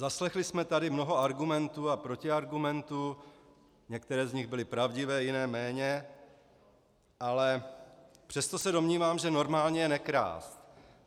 Zaslechli jsme tady mnoho argumentů a protiargumentů, některé z nich byly pravdivé, jiné méně, ale přesto se domnívám, že normální je nekrást.